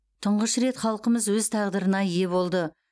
тұңғыш рет халқымыз өз тағдырына ие болды